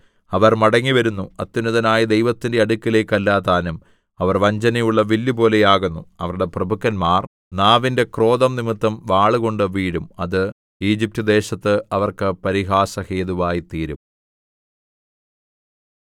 അവർ മടങ്ങിവരുന്നു അത്യുന്നതനായ ദൈവത്തിന്റെ അടുക്കലേക്ക് അല്ലതാനും അവർ വഞ്ചനയുള്ള വില്ലുപോലെ ആകുന്നു അവരുടെ പ്രഭുക്കന്മാർ നാവിന്റെ ക്രോധം നിമിത്തം വാളുകൊണ്ട് വീഴും അത് ഈജിപ്റ്റ് ദേശത്ത് അവർക്ക് പരിഹാസഹേതുവായിത്തീരും